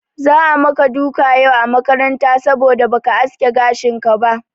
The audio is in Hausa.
Za'a maka duka yau a makaranta saboda ba ka aske gashinka ba.